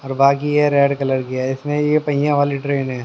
और बाकी है रेड कलर की है इसमें ये पहिया वाली ट्रेन है।